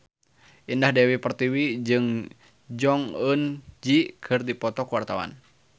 Indah Dewi Pertiwi jeung Jong Eun Ji keur dipoto ku wartawan